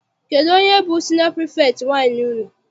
Kedụ onye bụ siniọ pirifektị nwaanyị unu?